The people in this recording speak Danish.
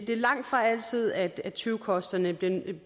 er langtfra altid at tyvekosterne